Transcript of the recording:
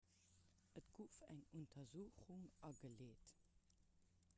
et gouf eng untersuchung ageleet